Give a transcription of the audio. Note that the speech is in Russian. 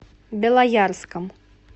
белоярском